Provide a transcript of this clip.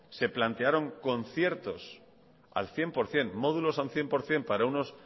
se plantearon conciertos al cien por ciento módulos al cien por ciento